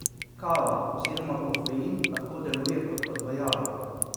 Kava oziroma kofein lahko deluje kot odvajalo.